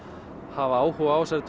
hafa áhuga á þessari